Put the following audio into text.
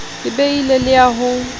ka beile le ya ho